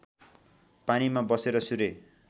पानीमा बसेर सूर्य